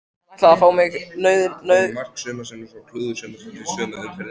Hann ætlaði að fá mig, nauðuga, til lags við sig.